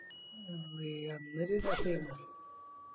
അമ്മെ അന്നോര് രസായിരുന്നു